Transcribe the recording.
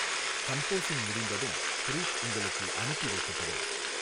Composing முடிந்ததும் proof உங்களுக்கு அனுப்பி வைக்கப்படும்.